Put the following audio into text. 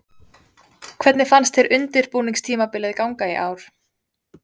Hvernig fannst þér undirbúningstímabilið ganga í ár?